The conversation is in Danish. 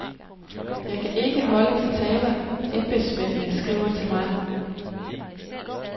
Jeg kan ikke holde de taler, embedsmændene skriver til mig.